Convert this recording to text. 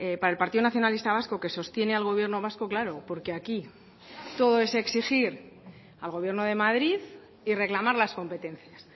para el partido nacionalista vasco que sostiene al gobierno vasco claro porque aquí todo es exigir al gobierno de madrid y reclamar las competencias